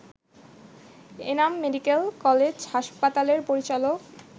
Enam medical college হাসপাতালের পরিচালক